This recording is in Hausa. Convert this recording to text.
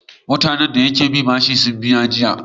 Mutane da suki binsa bashi sun biya jiya.